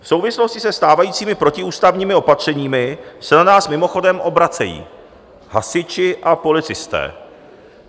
V souvislosti se stávajícími protiústavními opatřeními se na nás mimochodem obracejí hasiči a policisté.